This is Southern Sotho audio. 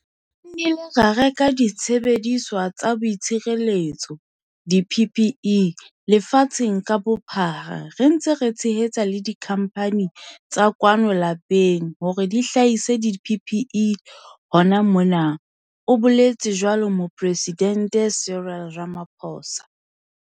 "Re nnile ra reka disebediswa tsa boitshireletso, di-PPE, lefatsheng ka bophara, re ntse re tshehetsa le dikhamphane tsa kwano lapeng hore di hlahise di-PPE hona mona," o boletse jwalo Moporesidente Cyril Ramaphosa.